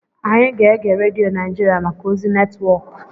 Anyị ga-ege redio Naijiria maka ozi netwọk.